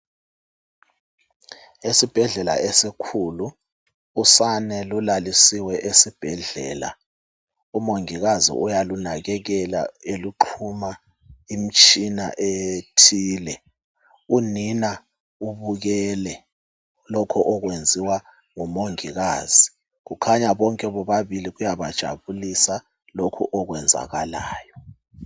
Esibhadlela esikhulu, usane lulalisiwe esibhedlela, umongikazi uyalunakekela exhuma imitshina ethile. Unina ubukele lokho okwenziwa ngumongilazi kukhanya bonke bobabili kuyabajabulisa lokho okwenzakalayo.